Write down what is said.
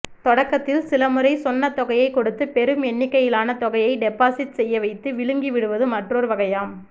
தொடக்கத்தில் சில முறை சொன்னதொகையைக் கொடுத்து பெரும் எண்ணிக்கையிலான தொகையை டெபாசிட் செய்ய வைத்து விழுங்கி விடுவது மற்றொரு வகையாம்